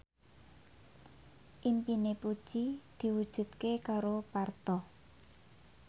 impine Puji diwujudke karo Parto